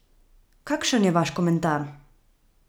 Kakšen je vaš komentar?